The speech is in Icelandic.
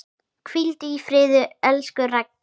Hvíldu í friði, elsku Raggi.